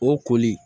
O koli